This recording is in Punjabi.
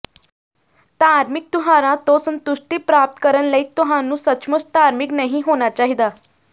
ਧਾਰਮਿਕ ਤਿਉਹਾਰਾਂ ਤੋਂ ਸੰਤੁਸ਼ਟੀ ਪ੍ਰਾਪਤ ਕਰਨ ਲਈ ਤੁਹਾਨੂੰ ਸੱਚਮੁੱਚ ਧਾਰਮਿਕ ਨਹੀਂ ਹੋਣਾ ਚਾਹੀਦਾ